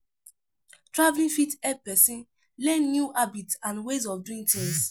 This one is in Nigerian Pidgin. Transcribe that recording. Travelling fit help person learn new habits and way of doing tins